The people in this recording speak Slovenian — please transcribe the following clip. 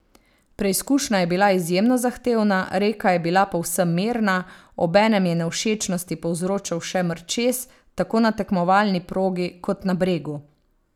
Preizkušnja je bila izjemno zahtevna, reka je bila povsem mirna, obenem je nevšečnosti povzročal še mrčes tako na tekmovalni progi kot na bregu.